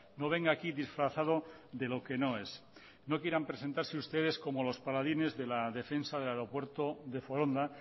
no venga aquí disfrazado de lo que no es no quieran presentarse ustedes como los paladines de la defensa del aeropuerto de foronda